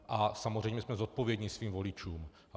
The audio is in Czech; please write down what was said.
A samozřejmě jsme zodpovědní svým voličům.